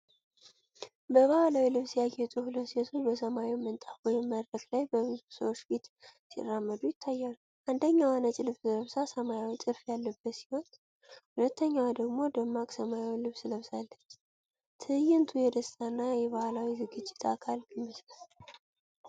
በባህላዊ ልብስ ያጌጡ ሁለት ሴቶች በሰማያዊ ምንጣፍ ወይም መድረክ ላይ በብዙ ሰዎች ፊት ሲራመዱ ይታያሉ። አንደኛዋ ነጭ ልብስ ለብሳ ሰማያዊ ጥልፍ ያለበት ሲሆን፣ ሁለተኛዋ ደግሞ ደማቅ ሰማያዊ ልብስ ለብሳለች። ትዕይንቱ የደስታና የባህል ዝግጅት አካል ይመስላል።